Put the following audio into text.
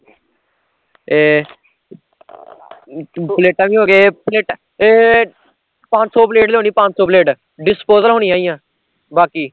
ਤੇ ਪਲੇਟਾਂ ਵੀ ਹੋਂਗੀਆਂ, ਪਲੇਟਾਂ ਏਹ ਪੰਜ ਸੋ ਪਲੇਟ ਲਿਆਉਣੀ ਪੰਜ ਸੋ ਪਲੇਟ disposal ਹੋਣੀਆ ਈ ਐ ਬਾਕੀ